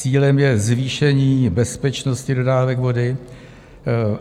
Cílem je zvýšení bezpečnosti dodávek vody.